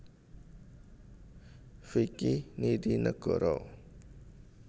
Vicky Nitinegoro